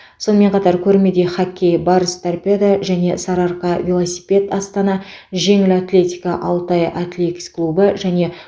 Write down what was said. сонымен қатар көрмеде хоккей барыс торпедо және сары арқа велосипед астана жеңіл атлетика алтай атлекс клубы және